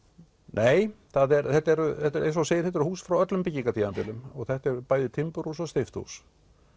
nei þetta eru eins og þú segir hús frá öllum og þetta eru bæði timburhús og steypt hús